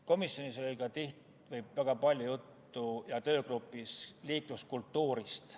Komisjonis ja töögrupis oli väga palju juttu liikluskultuurist.